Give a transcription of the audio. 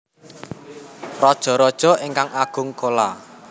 Rajaraja ingkang Agung Chola